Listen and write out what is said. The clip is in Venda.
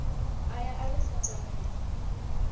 aya a ri funza mini